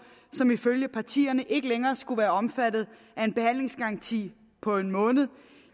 som ifølge partierne ikke længere skulle være omfattet af en behandlingsgaranti på en måned